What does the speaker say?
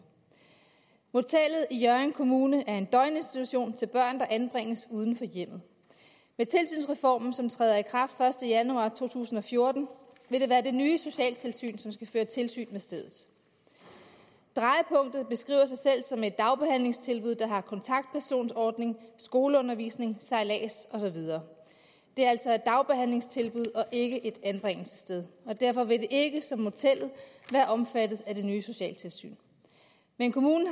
motellet i hjørring kommune er en døgninstitution til børn der anbringes uden for hjemmet med tilsynsreformen som træder i kraft den første januar to tusind og fjorten vil det være det nye socialtilsyn som skal føre tilsyn med stedet drejepunktet beskriver sig selv som et dagbehandlingstilbud der har kontaktpersonordning skoleundervisning sejlads og så videre det er altså et dagbehandlingstilbud og ikke et anbringelsessted og derfor vil det ikke ligesom motellet være omfattet af det nye socialtilsyn men kommunen